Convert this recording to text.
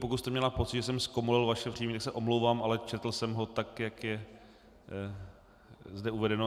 Pokud jste měla pocit, že jsem zkomolil vaše příjmení, tak se omlouvám, ale četl jsem ho tak, jak je zde uvedeno.